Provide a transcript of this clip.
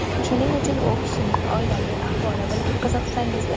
Shuning uchun u kishining oilaviy ahvoli bilan qiziqsangizlar.